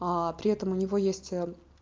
при этом у него есть